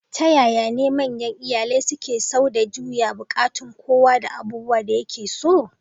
Ta yaya ne manyan iyalai suke sau da juya buƙatun kowa da abubuwan da yake so?